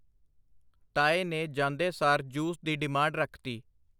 ਤਾਏ ਨੇ ਜਾਂਦੇ ਸਾਰ ਜੂਸ ਦੀ ਡੇਮਾਂਡ ਰੱਖ ਤੀ.